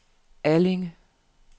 Allinge